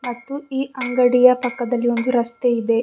ಮತ್ತು ಈ ಅಂಗಡಿಯ ಪಕ್ಕದಲ್ಲಿ ಒಂದು ರಸ್ತೆ ಇದೆ.